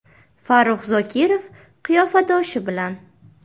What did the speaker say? Farrux Zokirov “qiyofadoshi” bilan.